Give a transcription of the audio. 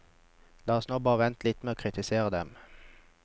La oss nå bare vente litt med å kritisere dem.